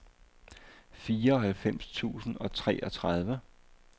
fireoghalvfems tusind og treogtredive